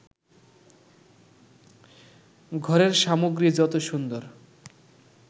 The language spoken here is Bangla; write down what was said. ঘরের সামগ্রী যত সুন্দর